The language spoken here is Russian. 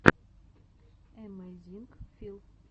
эмэйзинг фил